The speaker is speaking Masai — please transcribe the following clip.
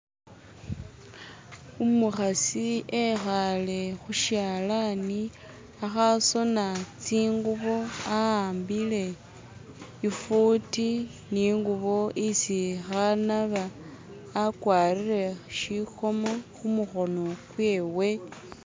Umukhasi ekhale khusyalani akhasoona tsingubo awambile ifuti ningubo isi khanaaba, akwarire shikomo khumukhono kwewe.